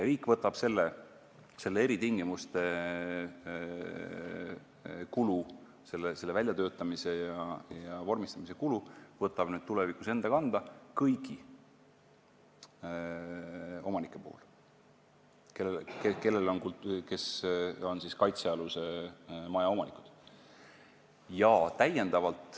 Riik võtab eritingimuste väljatöötamise ja vormistamise kulu tulevikus enda kanda kõigi puhul, kes on kaitsealuse maja omanikud.